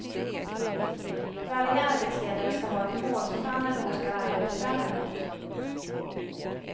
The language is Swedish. Varje arbetsledare skall ha ett mål som han eller hon skall arbeta fram emot.